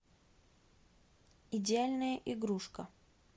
идеальная игрушка